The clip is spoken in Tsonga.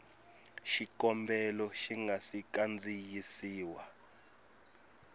xikombelo xi nga si kandziyisiwa